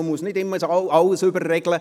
Man muss nicht immer alles überregeln.